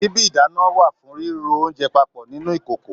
Síbi ìdáná wà fún riro oúnjẹ papọ nínú ìkòkò.